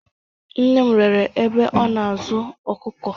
Nne m rere ebe ọ na-azụ ọkụkọ.